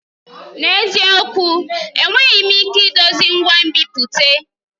N'eziokwu! Enweghị m ike idozi ngwa nbipute.